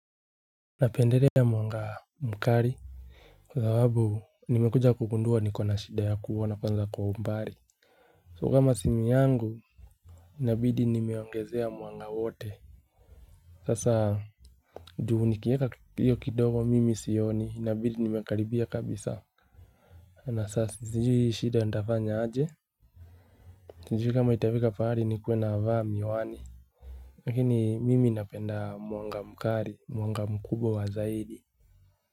Napendelea mwanga mkali kwa sababu nimekuja kugundua niko na shida ya kuona kwanza kwa umbali so kama simu yangu inabidi nimeongezea mwanga wote sasa. Juu nikieka hiyo kidogo mimi sioni inabidi nimekaribia kabisa. Na sasa si jui shida ntafanya aje sijui kama itafika pahali nikuwe na vaa miwani. Lakini mimi napenda mwanga mkali mwanga mkubwa wa zaidi.